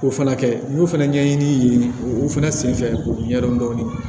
O fana kɛ n y'o fɛnɛ ɲɛɲini u fana senfɛ k'o ɲɛdɔn dɔɔnin